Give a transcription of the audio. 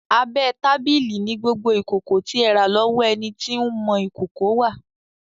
Abẹ́ tábìlì ni gbogbo ìkòkò tí ẹ rà lọ́wọ́ ẹni tí ń mọ ìkòkò wà.